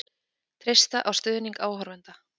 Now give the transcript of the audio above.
Treysta á stuðning áhorfenda